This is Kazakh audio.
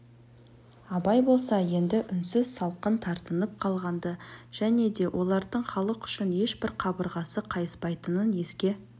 абай болса енді үнсіз салқын тартынып қалған-ды және де олардың халық үшін ешбір қабырғасы қайыспайтынын еске